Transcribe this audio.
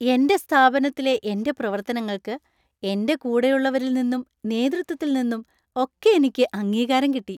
എന്‍റെ സ്ഥാപനത്തിലെ എന്‍റെ പ്രവർത്തനങ്ങൾക്ക് എന്‍റെ കൂടെയുള്ളവരിൽ നിന്നും നേതൃത്വത്തിൽ നിന്നും ഒക്കെയെനിക്ക് അംഗീകാരം കിട്ടി.